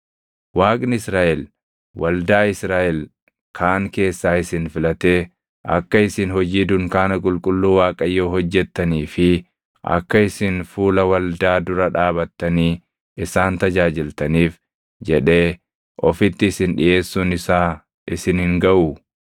Waaqni Israaʼel waldaa Israaʼel kaan keessaa isin filatee akka isin hojii dunkaana qulqulluu Waaqayyoo hojjettanii fi akka isin fuula waldaa dura dhaabatanii isaan tajaajiltaniif jedhee ofitti isin dhiʼeessuun isaa isin hin gaʼuu?